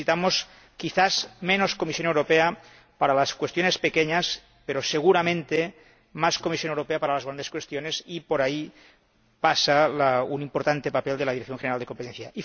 Necesitamos, quizás, menos Comisión Europea para las cuestiones pequeñas pero, seguramente, más Comisión Europea para las grandes cuestiones y por ahí pasa el importante papel de la Dirección General de Competencia.